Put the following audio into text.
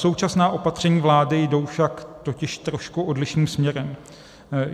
Současná opatření vlády jdou však totiž trošku odlišným směrem.